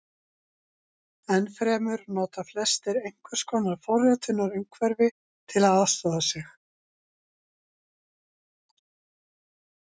Enn fremur nota flestir einhvers konar forritunarumhverfi til að aðstoða sig.